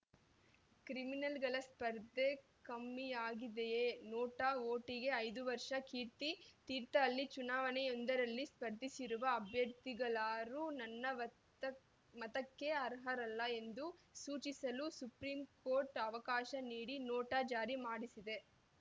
ಕ್ರಿಮಿನಲ್‌ಗಳ ಸ್ಪರ್ಧೆ ಕಮ್ಮಿಯಾಗಿದೆಯಾ ನೋಟಾ ವೋಟಿಗೆ ಐದು ವರ್ಷ ಕೀರ್ತಿ ತೀರ್ಥಹಳ್ಳಿ ಚುನಾವಣೆಯೊಂದರಲ್ಲಿ ಸ್ಪರ್ಧಿಸಿರುವ ಅಭ್ಯರ್ಥಿಗಳಾರೂ ನನ್ನ ವತ್ತಕ್ಕೆ ಮತಕ್ಕೆ ಅರ್ಹರಲ್ಲ ಎಂದು ಸೂಚಿಸಲು ಸುಪ್ರೀಂಕೋರ್ಟ್‌ ಅವಕಾಶ ನೀಡಿ ನೋಟಾ ಜಾರಿ ಮಾಡಿಸಿದೆ